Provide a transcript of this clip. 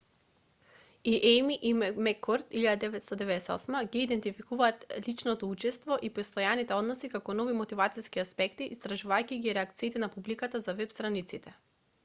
и ејми и меккорд 1998 ги идентификуваат личното учество и постојаните односи како нови мотивациски аспекти истражувајќи ги реакциите на публиката за веб-страниците